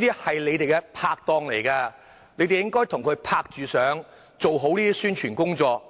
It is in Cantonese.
些是你們的拍檔，你們應該與他們共同合作，做好宣傳工作。